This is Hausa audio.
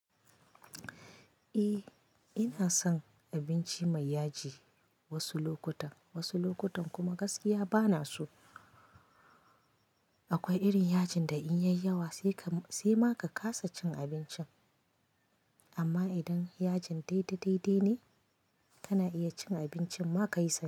Eh ina son abinci mai yaji wasu lokutan, wasu lokutan kuma gaskiya bana so. Akwai irin yajin da in yai yawa sai ma ka kasa cin abincin, amma idan yajin daidai-daidai ne kana iya cin abincin ma ka yi santi.